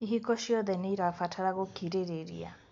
Ihiko ciothe nĩirabatara gũkirĩrĩria